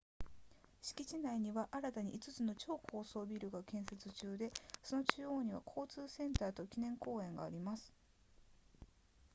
敷地内には新たに5つの超高層ビルが建設中でその中央には交通センターと記念公園があります